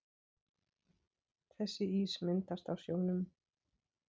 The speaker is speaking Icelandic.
Þessi ís myndast á sjónum.